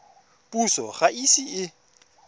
puso ga e ise e